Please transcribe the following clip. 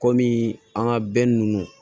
Kɔmi an ka ninnu